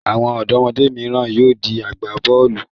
Àwọn ọ̀dọ́mọdé mìíràn yóò di agbá-bọ́ọ́lù.